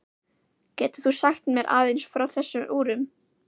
Getur þú sagt mér aðeins frá þessum úrum?